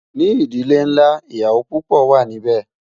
ní ìdílé nlá, ìyàwó púpò wà nì bé